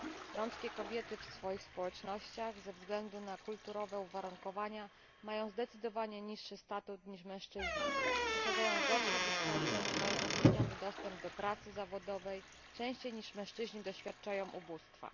Romskie kobiety w swoich społecznościach ze względu na kulturowe uwarunkowania mają zdecydowanie niższy status niż mężczyźni, posiadają gorsze wykształcenie, mają utrudniony dostęp do pracy zawodowej, częściej niż mężczyźni doświadczają ubóstwa.